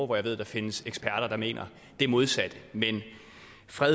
hvor jeg ved der findes eksperter der mener det modsatte men fred